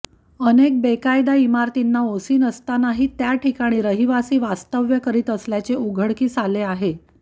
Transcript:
अनेक बेकायदा इमारतींना ओसी नसतानाही त्या ठिकाणी रहिवासी वास्तव्य करीत असल्याचे उघडकीस आले आहे